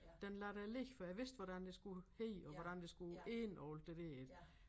Den lærte jeg let for jeg vidste hvordan det skulle hedde og hvordan det skulle ende og alt det der ik